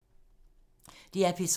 DR P3